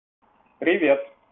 привет